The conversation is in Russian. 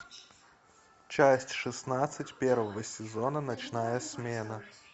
часть шестнадцать первого сезона ночная смена